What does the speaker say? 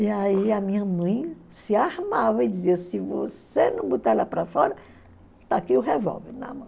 E aí a minha mãe se armava e dizia se você não botar ela para fora, está aqui o revólver na mão.